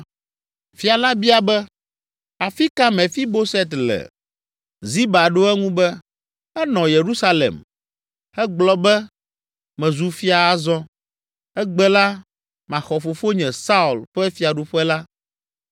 Fia la bia be, “Afi ka Mefiboset le?” Ziba ɖo eŋu be, “Enɔ Yerusalem; egblɔ be, ‘Mezu fia azɔ! Egbe la maxɔ fofonye, Saul, ƒe fiaɖuƒe la!’ ”